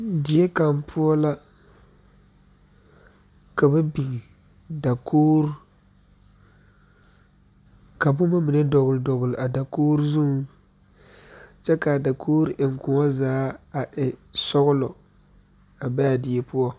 Doɔ kaŋa poɔ la ka la biŋ dakoo ka boma mine dɔgele dɔgele a dakoo zuriŋ kyɛ kaa dakoori eŋgoɔ zaa e sɔgelɔ a be a die poɔ